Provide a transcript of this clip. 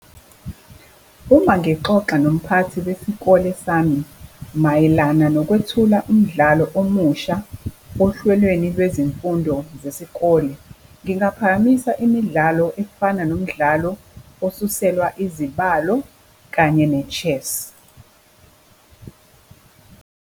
Uma ngixoxa nomphathi wesikole sami, mayelana nokwethula umdlalo omusha ohlelweni lwezimfundo zesikole, ngingaphakamisa imidlalo efana nomdlalo osuselwa izibalo kanye ne-chess.